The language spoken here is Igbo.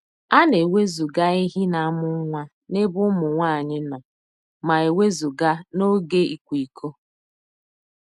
A na-ewezụga ehi na-amụ nwa n'ebe ụmụ nwanyị nọ ma e wezụga n'oge ịkwa iko.